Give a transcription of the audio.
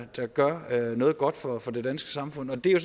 der gør noget godt for for det danske samfund det er